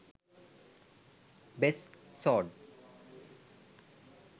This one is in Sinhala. best sword